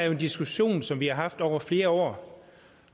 en diskussion som vi har haft over flere år